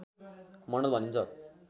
मण्डल भनिन्छ